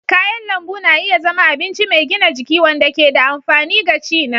Kayan lambu na iya zama abinci mai gina jiki wanda ke da amfani gaci na.